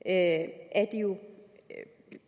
at have